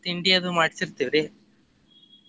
ತಿಂಡಿ ಅದು ಮಾಡ್ಸಿತ್ತೇವ್ರಿ.